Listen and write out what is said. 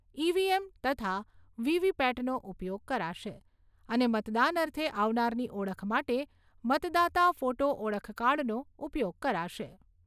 EVM. તથા વી.વી.પેટનો ઉપયોગ કરાશે અને મતદાન અર્થે આવનારની ઓળખ માટે મતદાતા ફોટો ઓળખકાર્ડનો ઉપયોગ કરાશે.